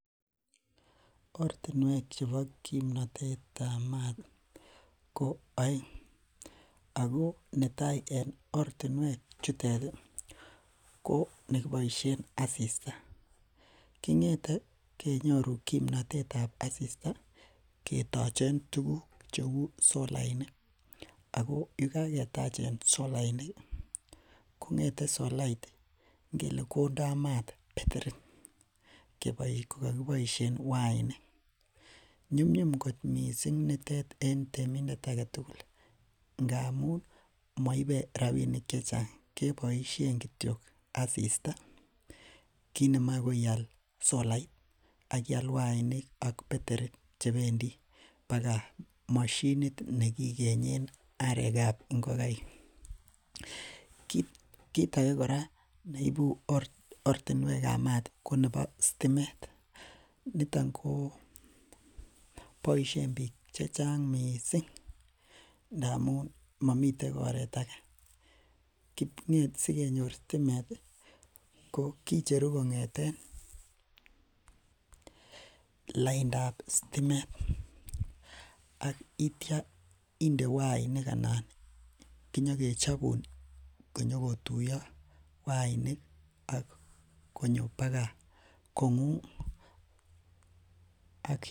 Ortinuek chebo kimnatetab maat ko aeng. Ako netai en ortinuek chetet ih ko nekiboisien asista. Kong'ete kenyoru kimnatetab asista ketachen tuguk cheuu solainik. Ako yekaketachen solainik kondaa maat beterit kokikiboisien wainik, nyumnyum kot missing nitet en temindet ake tugul ih ngamuun moibe rabinik chechang keboisien kityo asista kit nemae koial solait akiyaal wainik ak beterit chebendi baga moshinit nekikenyen arekab ingokaik. Kit age kora neibu ortinuekab maat ko sitimet niton ko boisien bik checheng missing ngamun mamiten oret age. Ko sigenyor sitimet ko kicheru kong'eten laindab sitimet. Ak iitya inde wainik anan inyonke chobun baga kong'ung.